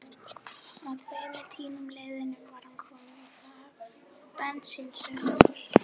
Að tveimur tímum liðnum var hann kominn í hlað bensínsölunnar.